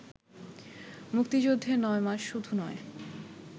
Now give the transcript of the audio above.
মুক্তিযুদ্ধের নয় মাস শুধু নয়